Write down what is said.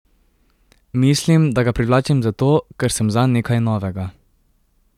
Mislim, da ga privlačim zato, ker sem zanj nekaj novega.